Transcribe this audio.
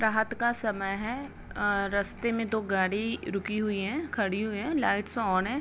रात का समय हैं अ रस्ते में दो गाड़ी रुकी हुई हैं खड़ी हुई हैं लाइट्स ऑन है।